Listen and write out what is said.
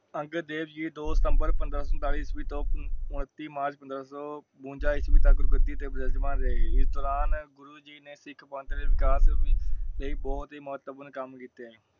ਅੰਗਦ ਦੇਵ ਜੀ ਦੋ ਸਿਤੰਬਰ ਪੰਦਰਾਂ ਸੋ ਸੰਤਾਲੀ ਈਸਵੀ ਤੋਂ ਓਰ ਤੀਹ ਮਾਰਚ ਪੰਦਰਾਂ ਸੋ ਬਬੰਜਾ ਈਸਵੀ ਤਕ ਗੁਰੂ ਗੱਦੀ ਤੇ ਵਿਰਾਜਮਾਨ ਰਹੇ । ਇਸ ਦੌਰਾਨ ਗੁਰੂ ਜੀ ਨੇ ਸਿੱਖ ਪੰਥ ਦੇ ਵਿਕਾਸ ਲਈ ਬਹੁਤ ਹੀ ਮਹੋਤਪੁਰਾਂ ਕਮ ਕੀਤੇ ।